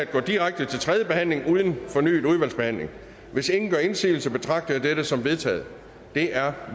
går direkte til tredje behandling uden fornyet udvalgsbehandling hvis ingen gør indsigelse betragter jeg dette som vedtaget det er